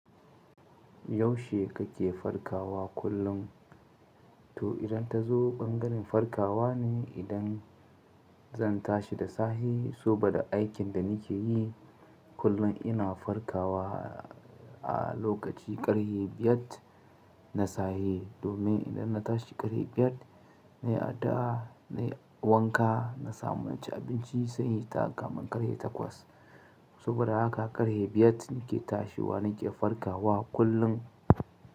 Yaushe kake farkawa kullum? To idan ta zo bangaren farkawa ne idan zan tashi da sahe, soba da aikin da nike yi kullum ina farkawa a lokaci ƙarhe biyar na sahe. Domin idan na tashi ƙarhe biyar na yi ada, na yi wanka, na samu naci abinci sai inhita kamun ƙarhe takwas. Saboda haka ƙarhe biyar nike tashiwa nike farkawa kullum.